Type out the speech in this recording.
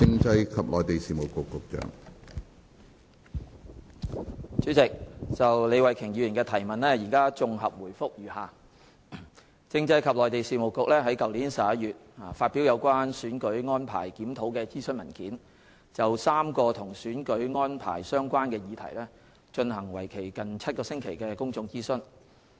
主席，就李慧琼議員的質詢，現綜合答覆如下。政制及內地事務局於去年11月發表《有關選舉安排檢討的諮詢文件》，就3個與選舉安排相關的議題進行為期近7星期的公眾諮詢。